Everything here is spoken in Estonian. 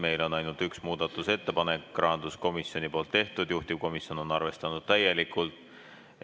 Meil on ainult üks muudatusettepanek, selle on teinud rahanduskomisjon ja juhtivkomisjon on arvestanud seda täielikult.